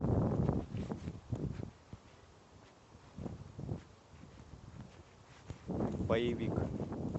боевик